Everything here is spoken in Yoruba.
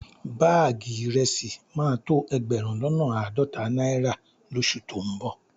Báàgì ìrẹsì máa tó ẹgbẹ̀rún lọ́nà àádọ́ta náírà lóṣù tó ń bọ̀